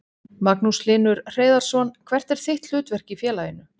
Magnús Hlynur Hreiðarsson: Hvert er þitt hlutverk í félaginu?